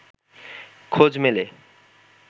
খোঁজ মেলে